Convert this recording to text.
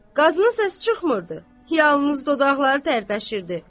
Qazının səsi çıxmırdı, yalnız dodaqları tərpəşirdi.